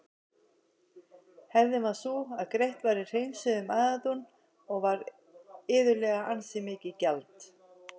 Hefðin var sú að greitt var í hreinsuðum æðadún og var iðulega ansi mikið gjald.